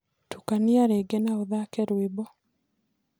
tũkanĩa rĩngĩ na ũthake rwĩmbo